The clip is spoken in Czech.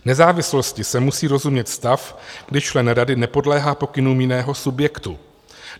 Nezávislostí se musí rozumět stav, když člen rady nepodléhá pokynům jiného subjektu.